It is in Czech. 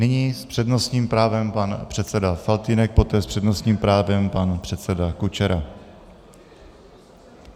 Nyní s přednostním právem pan předseda Faltýnek, poté s přednostním právem pan předseda Kučera.